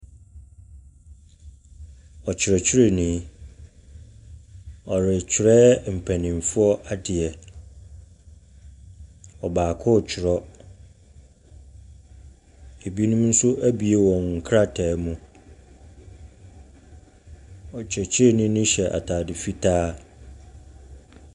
Ɔkyerɛkyerɛni, ɔrekyerɛ mpaninfoɔ adeɛ. Ɔbaako twerɛ, ebinom nso abue wɔn krataa mu. Ɔkyerɛkyerɛni no hyɛ ataade fitaa.